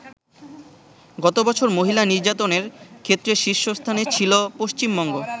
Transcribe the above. গতবছর মহিলা নির্যাতনের ক্ষেত্রে শীর্ষস্থানে ছিল পশ্চিমবঙ্গ।